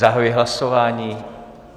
Zahajuji hlasování.